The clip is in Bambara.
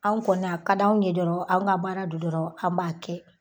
Anw kɔni a ka d'anw ye dɔrɔn an ka baara don dɔrɔn an b'a kɛ.